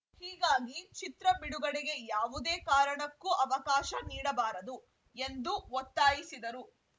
ಹೀಗಾಗಿ ಚಿತ್ರ ಬಿಡುಗಡೆಗೆ ಯಾವುದೇ ಕಾರಣಕ್ಕೂ ಅವಕಾಶ ನೀಡಬಾರದು ಎಂದು ಒತ್ತಾಯಿಸಿದರು